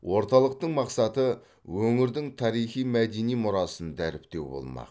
орталықтың мақсаты өңірдің тарихи мәдени мұрасын дәріптеу болмақ